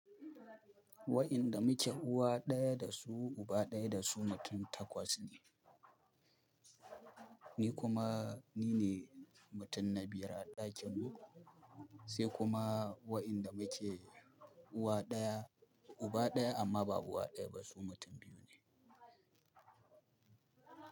Wa'inda muke uwa ɗaya da su uba ɗaya da su mutum takwas ne, ni kuma ni ne mutum na biyar a ɗakin mu, sai kuma wa'inda muke uwa ɗaya uba ɗaya amma ba uwa ɗaya ba su mutum biyu ne.